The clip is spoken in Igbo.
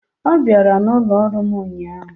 Ọ bịara n'ụlọ ọrụ m ụnyaahụ.